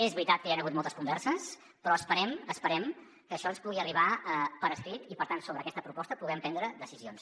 és veritat que hi han hagut moltes converses però esperem que això ens pugui arribar per escrit i per tant sobre aquesta proposta puguem prendre decisions